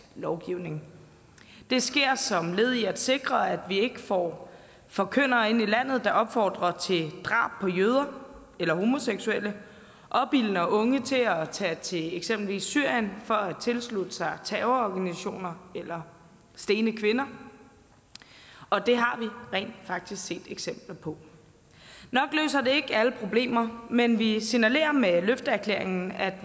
lovgivning det sker som led i at sikre at vi ikke får forkyndere ind i landet der opfordrer til drab på jøder eller homoseksuelle opildner unge til at tage til eksempelvis syrien for at tilslutte sig terrororganisationer eller stene kvinder og det har vi rent faktisk set eksempler på nok løser det ikke alle problemer men vi signalerer med løfteerklæringen at